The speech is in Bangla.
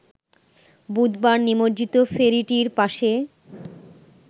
বুধবার নিমজ্জিত ফেরিটির পাশে